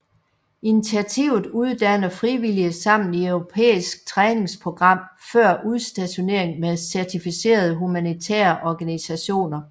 Initiativet uddanner frivillige sammen i europæisk træningsprogram før udstationering med certificerede humanitære organisationer